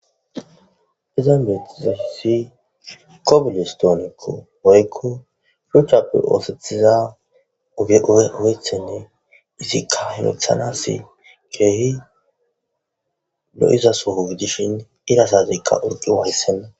Izan bettizaysi kobilistonko woykko shuchchappe ooththetiza oge ooththonne izikka ay ooththanase kehi lo'iza soo gidishin ira sateka utuwa hayssan.